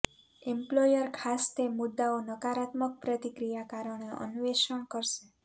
employer ખાસ તે મુદ્દાઓ નકારાત્મક પ્રતિક્રિયા કારણે અન્વેષણ કરશે